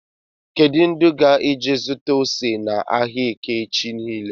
Kedụ ndị ga-eje zụta ose na áhiá eke echi niile??